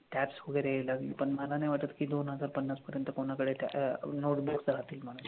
Tabs वगैरे learn, पण मला नाही वाटत कि दोन हजार पन्नास पर्यंत कोणाकडे टॅ notebooks राहतील म्हणून.